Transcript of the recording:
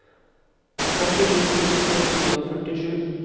åttini tusen ett hundre og førtisju